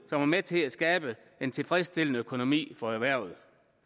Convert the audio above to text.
var med til at skabe en tilfredsstillende økonomi for erhvervet